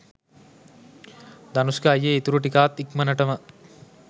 ධනුෂ්ක අයියේ ඉතුරු ටිකත් ඉක්මනටම